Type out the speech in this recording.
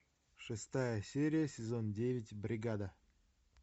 шестая серия сезон девять бригада